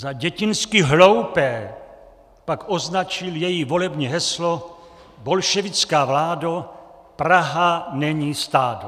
Za dětinsky hloupé pak označil její volební heslo "Bolševická vládo, Praha není stádo!".